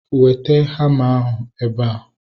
Weta hama ahu ebea!